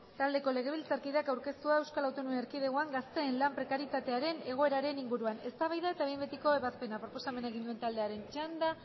taldeko legebiltzarkideak aurkeztua eaen gazteen lan prekarietatearen egoeraren inguruan eztabaida eta behin betiko ebazpena proposamena egin duenaren taldearen txanda